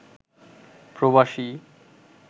প্রবাসী